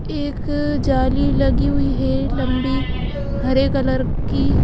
एक जाली लगी हुई है लंबी हरे कलर की --